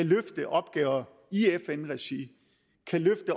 løfte opgaver i fn regi